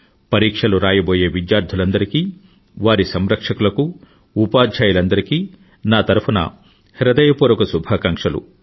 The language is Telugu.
పరీక్షలు రాయబోయే విద్యార్థులందరికీ వారి సంరక్షకులకు ఉపాధ్యాయులందరికీ నా తరఫున హృదయపూర్వక శుభాకాంక్షలు